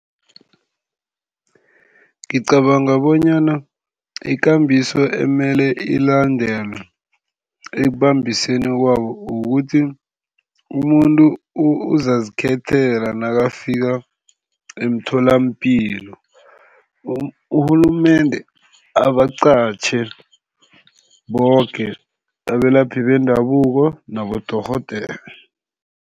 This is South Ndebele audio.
Ngicabanga bonyana ikambiso ekumele ilandelwe ekubambiseni kwabo kukuthi umuntu uzazikhethela nakafika emtholampilo. Urhulumende abaqatjhe boke abelaphi bendabuko nabodorhodere.